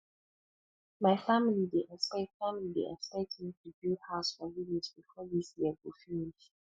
my family dey expect family dey expect me to build house for village before this year go finish